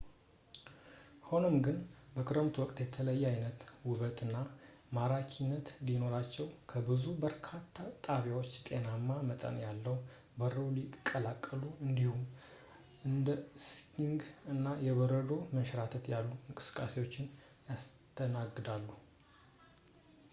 ሆኖም ግን ፣ በክረምቱ ወቅት የተለየ ዓይነት ውበት እና ማራኪነት ሲኖራቸው ፣ ብዙ የኮረብታ ጣቢያዎች ጤናማ መጠን ያለው በረዶ ይቀበላሉ እንዲሁም እንደ ስኪንግ እና የበረዶ መንሸራተት ያሉ እንቅስቃሴዎችን ያስተናግዳሉ